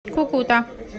кукута